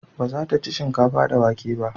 Ba za ta ci shinkafa da wake ba